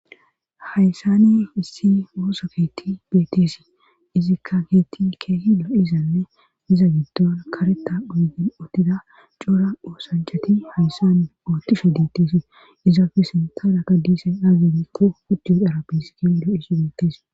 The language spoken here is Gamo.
hayssane issi oosoketi beeteesi izikka heetti keehi lo izanne miza giddon kareta uygen oottida cora oosanchati hayssane oottishe deetteesi izaafe sintaada ka diisay aazemikqo ucjuo darabis kedo isi beettees